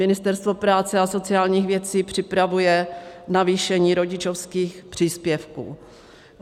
Ministerstvo práce a sociálních věcí připravuje navýšení rodičovských příspěvků.